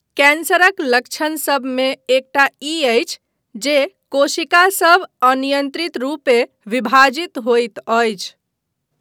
कैंसरक लक्षण सभमे एकटा ई अछि जे कोशिका सभ अनियन्त्रित रूपे विभाजित होइत अछि।